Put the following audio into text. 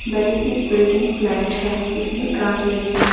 बड़ी सी building flat है जिसमें काँच लगी है।